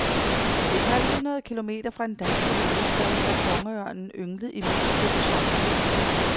Et halvt hundrede kilometer fra den danske hovedstad har kongeørnen ynglet i mindst to somre.